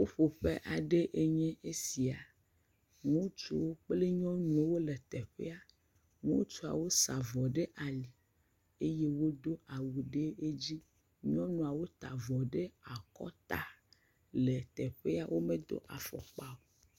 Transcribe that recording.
Ƒuƒoƒe aɖe nye esia. Ŋutsuwo kple nyɔnuwo wole teƒea. Ŋutsuawo sa vɔ ɖe ali eye wodo awu ɖe edzi. Nyɔnua wota avɔ ɖe akɔta le teƒea. Wome do afɔkpa o.